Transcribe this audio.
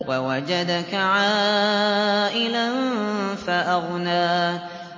وَوَجَدَكَ عَائِلًا فَأَغْنَىٰ